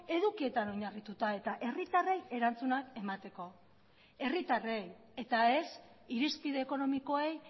edukietan oinarrituta eta herritarrei erantzunak emateko herritarrei eta ez irizpide ekonomikoei